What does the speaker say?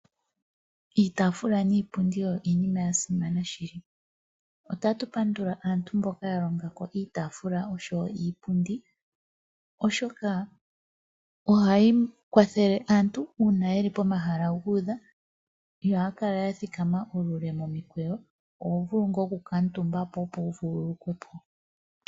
Iitafula niipundi oyo iinima yasimana shili. Otatu pandula aantu mboka ya longa iipundi niitaafula oshoka ohayi kwathele aantu pomahala guudha ihaya kala yathika ethimbo ele momikweyo oho vulu okukuutumba po opo wu vululukwe.